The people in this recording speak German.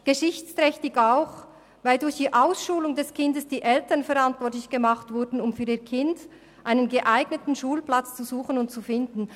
Geschichtsträchtig ist dies auch, weil durch die Ausschulung des Kindes die Eltern verantwortlich gemacht wurden, für ihr Kind einen geeigneten Schulplatz zu suchen und zu finden.